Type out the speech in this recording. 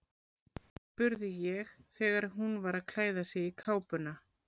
spurði ég þegar hún var að klæða sig í kápuna.